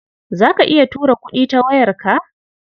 Za ka iya tura kuɗi da wayarka?